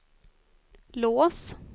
lås